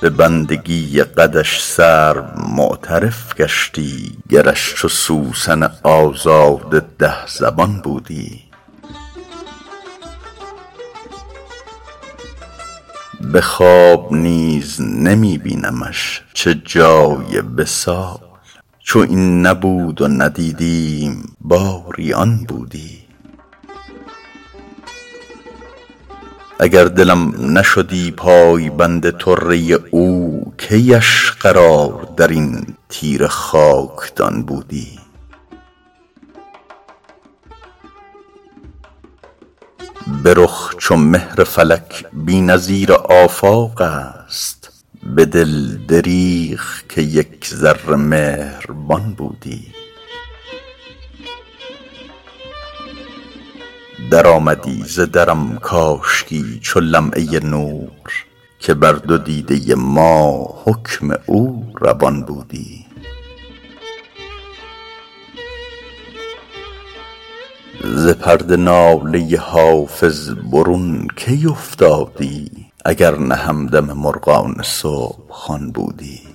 به بندگی قدش سرو معترف گشتی گرش چو سوسن آزاده ده زبان بودی به خواب نیز نمی بینمش چه جای وصال چو این نبود و ندیدیم باری آن بودی اگر دلم نشدی پایبند طره او کی اش قرار در این تیره خاکدان بودی به رخ چو مهر فلک بی نظیر آفاق است به دل دریغ که یک ذره مهربان بودی درآمدی ز درم کاشکی چو لمعه نور که بر دو دیده ما حکم او روان بودی ز پرده ناله حافظ برون کی افتادی اگر نه همدم مرغان صبح خوان بودی